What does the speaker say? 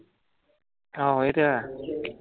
ਆਹੋ ਇਹ ਤੇ ਹੈ।